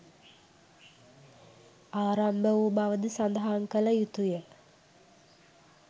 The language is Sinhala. ආරම්භ වූ බවද සඳහන් කළ යුතු ය.